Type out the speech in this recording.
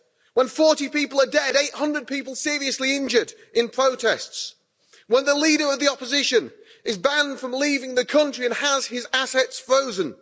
When 40 people are dead, 800 people seriously injured in protests, when the leader of the opposition is banned from leaving the country and has his assets frozen...